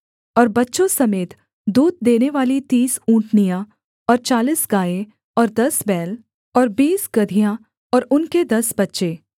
और बच्चों समेत दूध देनेवाली तीस ऊँटनियाँ और चालीस गायें और दस बैल और बीस गदहियाँ और उनके दस बच्चे